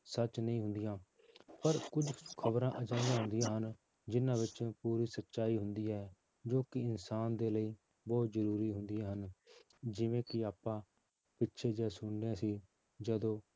ਸੱਚ ਨਹੀਂ ਹੁੰਦੀਆਂ ਪਰ ਕੁਛ ਖ਼ਬਰਾਂ ਅਜਿਹੀਆਂ ਹੁੰਦੀਆਂ ਹਨ ਜਿੰਨਾਂ ਵਿੱਚ ਪੂਰੀ ਸਚਾਈ ਹੁੰਦੀ ਹੈ ਜੋ ਕਿ ਇਨਸਾਨ ਦੇ ਲਈ ਬਹੁਤ ਜ਼ਰੂਰੀ ਹੁੰਦੀਆਂ ਹਨ ਜਿਵੇਂ ਕਿ ਆਪਾਂ ਪਿੱਛੇ ਜਿਹੇ ਸੁਣਦੇ ਸੀ ਜਦੋਂ